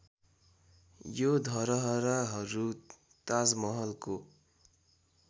यो धरहराहरू ताजमहलको